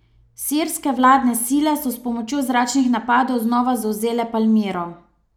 Sirske vladne sile so s pomočjo zračnih napadov znova zavzele Palmiro.